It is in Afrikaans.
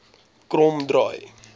kromdraai